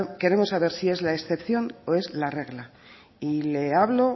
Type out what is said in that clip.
queremos saber si es la excepción o si es la regla y le hablo